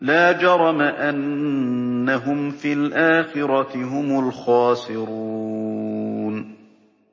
لَا جَرَمَ أَنَّهُمْ فِي الْآخِرَةِ هُمُ الْخَاسِرُونَ